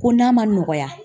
Ko n'a ma nɔgɔya